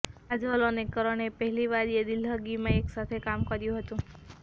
કાજોલ અને કરણે પહેલી વાર યે દિલ્લહગીમાં એક સાથે કામ કર્યું હતું